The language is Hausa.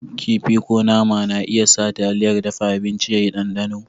Kifi ko nama na iya sa taliyar dafa abinci ya yi ɗanɗano.